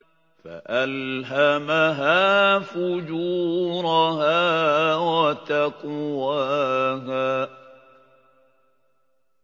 فَأَلْهَمَهَا فُجُورَهَا وَتَقْوَاهَا